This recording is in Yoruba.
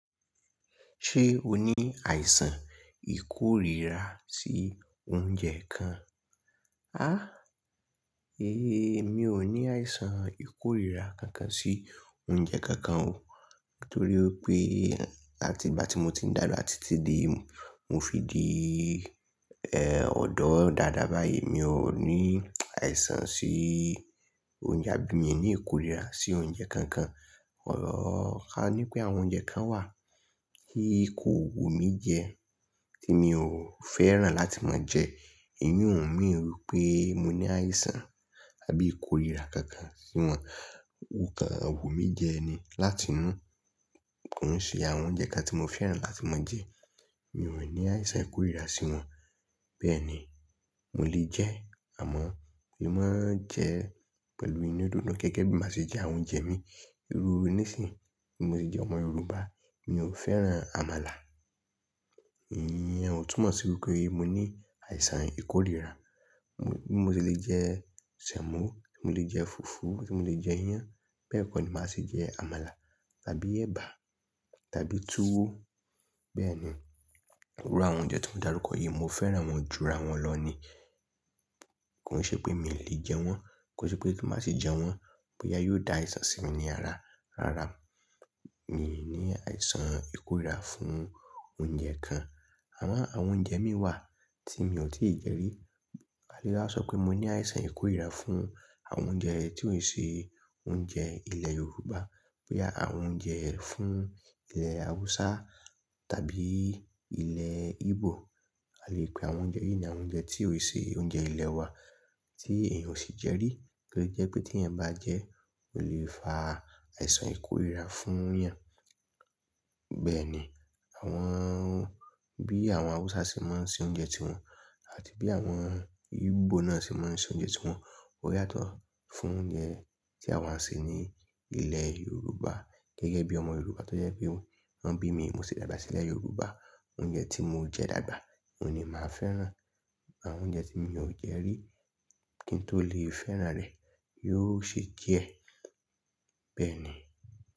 Ṣé o ní àìsàn ìkórira sí oúnjẹ kan? Há! Éèyí, mi ò ní àìsàn ìkórira kankan sí oúnjẹ kankan o. Nítorí wipé àti ìgbà tí mo ti dàgbà títí dé, mo fi di, ọ̀dọ́ dáadáa báyìí, mi ò ní àìsàn sí oúnjẹ, àbí mi ò ní ìkórira sí oúnjẹ kankan. Ọrọ̀ kaní pé àwọn oúnjẹ kan wà ti kò wumi jẹ tí mi ò fẹ́ràn láti máa jẹ. Èyí ò mean wí pé mo ní àìsàn àbí ìkórira kankan sí wọn. Kokán wu mí jẹ ni láti inú. Kòn ṣe àwọn oúnjẹ kan tí mo fẹ́ràn láti máa jẹ. Mi ò ní àìsàn ìkórira sí wọn. Bẹ́ẹ̀ni. Mo lè jẹ́ àmọ́ mo máa ń jẹ pẹ̀lú inú didun gege bí máa ṣe jẹ àwọn oúnjẹ mi. Irú nísìí, bi mo se jẹ́ ọmọ Yorùbá, mi ò fẹ́ràn àmàlà. Ìyẹn ò túmọ̀ sí wípé mo ní àìsàn ìkórira. Mo se lè jẹ ṣemo, ti mo lè jẹ fufu, ti mo lè jẹ iyan. Bẹ́ẹ̀ kọ́ ni màá ṣe jẹ àmàlà tàbí ẹ̀bà tàbí tuwo. Bẹ́ẹ̀ni. Irú àwọn oúnjẹ tí mo dárúkọ yí, mo fẹ́ràn wọ́n ju ara wọn lọ ni. Kòn ṣe pé mi lè jẹ wọ́n, kò ṣe pé tí màá ṣi jẹ wọ́n, boya yóò dá àìsàn sí mi ní ara. Rárá. Mi ní àìsàn ìkórira fún oúnjẹ kan. Àmọ́ àwọn oúnjẹ mìí wà tí mi ò tíì jẹ rí. A lè waa sọ pé mo ní àìsàn ìkórira fún àwọn oúnjẹ tí ò n ṣe oúnjẹ ilẹ̀ Yorùbá. Boya àwọn oúnjẹ fún ilẹ̀ Awúsá tàbí ilẹ̀ Igbo. A lè pe àwọn oúnjẹ yìí náà oúnjẹ tí ò ṣe oúnjẹ ilẹ̀ wa tí èèyàn ò sì jẹ rí, tó lè jẹ́ pé tí ẹ̀yan bá jẹ́, o lè fa àìsàn ìkórira fún eyan. Bẹ́ẹ̀ni. Àwọn, bí àwọn Awúsá ṣe máa ń ṣe oúnjẹ tí wọn àti bí àwọn Igbo náà ṣe máa ń ṣe oúnjẹ tí wọn. O yàtọ̀ fún oúnjẹ tí àwa ń ṣe ní ilẹ̀ Yorùbá. Gẹ́gẹ́ bí ọmọ Yorùbá tó jẹ́ pé wọ́n bí mi, mo sì dàgbà sílẹ̀ Yorùbá, oúnjẹ tí mo jẹ dàgbà oun ní màá fẹ́ràn. Àwọn oúnjẹ tí mi ò jẹ rí kí n tó lè fẹ́ràn rẹ̀ yóò ṣe díẹ̀. Bẹ́ẹ̀ ni.